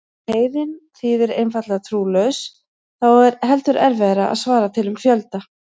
Ef heiðinn þýðir einfaldlega trúlaus þá er heldur erfiðara að svara til um fjölda.